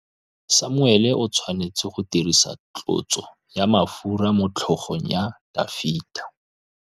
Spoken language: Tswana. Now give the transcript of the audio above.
Samuele o tshwanetse go dirisa tlotsô ya mafura motlhôgong ya Dafita.